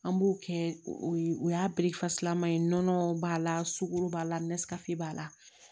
An b'o kɛ o ye o y'a laman ye nɔnɔ b'a la sugoro b'a la b'a la